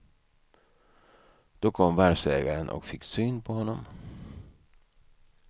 Då kom varvsägaren och fick syn på honom.